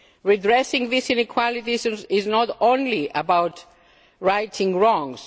Redressing these inequalities is not only about righting wrongs